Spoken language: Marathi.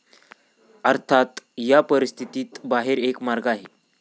अर्थात, या परिस्थितीत बाहेर एक मार्ग आहे.